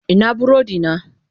Ina burodina?